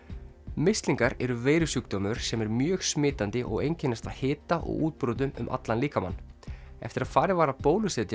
mislingar eru veirusjúkdómur sem er mjög smitandi og einkennist af hita og útbrotum um allan líkamann eftir að farið var að bólusetja